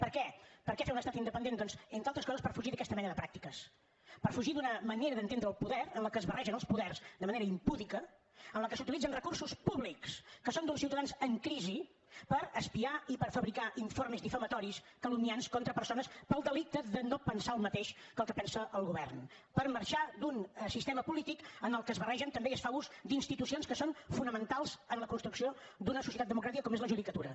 per què per què fer un estat independent doncs entre altres coses per fugir d’aquesta mena de pràctiques per fugir d’una manera d’entendre el poder en què es barregen els poders de manera impúdica en què s’utilitzen recursos públics que són d’uns ciutadans en crisi per espiar i per fabricar informes difamatoris calumniadors contra persones pel delicte de no pensar el mateix que el que pensa el govern per marxar d’un sistema polític en què es barregen també i es fa ús d’institucions que són fonamentals en la construcció d’una societat democràtica com és la judicatura